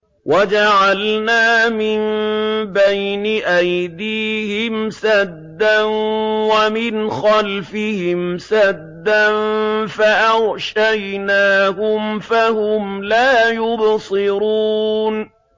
وَجَعَلْنَا مِن بَيْنِ أَيْدِيهِمْ سَدًّا وَمِنْ خَلْفِهِمْ سَدًّا فَأَغْشَيْنَاهُمْ فَهُمْ لَا يُبْصِرُونَ